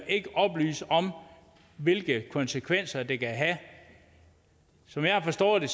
ikke oplyse om hvilke konsekvenser det kan have som jeg har forstået det